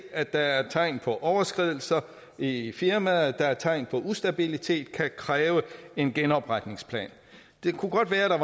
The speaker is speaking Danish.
at der er tegn på overskridelser i firmaet at der er tegn på ustabilitet så kan kræve en genopretningsplan det kan godt være at der